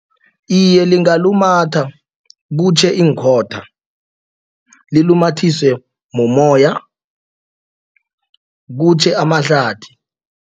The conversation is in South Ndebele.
Iye, lingalumatha kutjhe iinkhotha. Lilumathiswe mumoya kutjhe amahlathi.